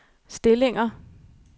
stillinger